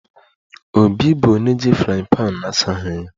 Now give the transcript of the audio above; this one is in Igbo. Obi bụ onye ji frying pan na-asaghị ya